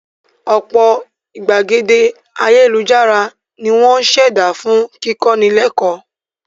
Ọ̀pọ̀ ìgbàgede ayélujára ni wọ́n á ṣẹ̀dá fún kíkọ́ni lẹ́kọ́ọ̀